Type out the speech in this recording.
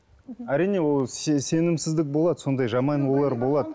әрине ол сенімсіздік болады сондай жаман ойлар болады